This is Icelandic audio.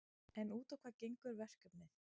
En út á hvað gengur verkefnið?